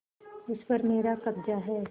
उस पर मेरा कब्जा है